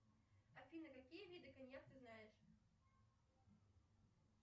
афина какие виды коньяк ты знаешь